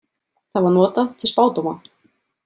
Það var notað til spádóma.